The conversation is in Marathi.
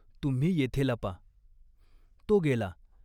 तुम्ही येथे लपा." तो गेला.